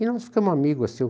E nós ficamos amigos assim.